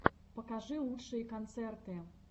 покажи лучшие концерты